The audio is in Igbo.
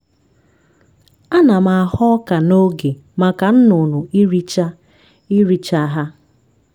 ana m aghọ ọka n'oge maka nnụnụ iricha iricha ha